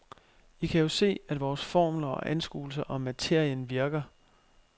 I kan jo se, at vores formler og anskuelser om materien virker.